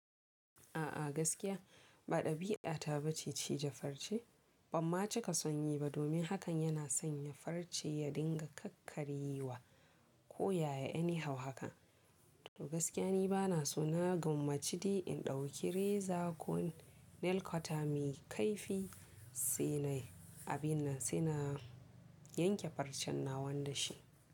A'a gaskiya ba ɗabi'ata bace cije farce, banma cika sonyi ba domin hakan yana sanya farce ya dinga kakkaryewa ko yaya any how haka. To gaskiya ni bana so na gamaci de in ɗauki reza ko nail cotter mai kaifi saina yi abin nan sai na yanke farcen nawa dashi.